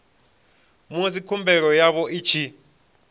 musi khumbelo yavho i tshi